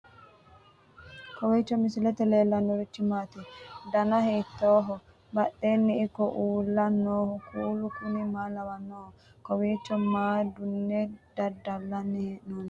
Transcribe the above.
kowiicho misilete leellanorichi maati ? dana hiittooho ?badhhenni ikko uulla noohu kuulu kuni maa lawannoho? kowiicho maa duunne daddallanni hee'nonni